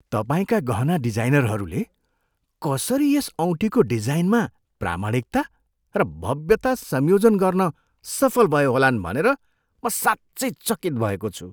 तपाईँका गहना डिजाइनरहरूले कसरी यस औँठीको डिजाइनमा प्रामाणिकता र भव्यता संयोजन गर्न सफल भए होलान् भनेर म साँच्चै चकित भएको छु।